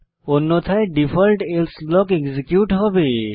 অন্যথায় default else block execute হবে